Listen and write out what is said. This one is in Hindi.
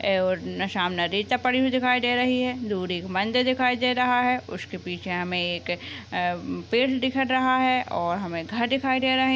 एक और सामन पड़ी हुई दिखाई दे दूर एक मंदिर दिखाई दे रहा है उसके पीछे हमे एक आम पेड दिखाई दे रहे और हमे घर दिखाई दे रहे है।